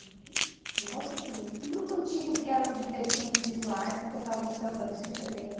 Um negócio assim, um grupo antigo que eram de deficientes visuais que tocavam samba, não sei se você lembra.